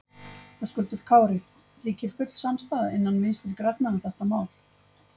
Höskuldur Kári: Ríkir full samstaða innan Vinstri grænna um þetta mál?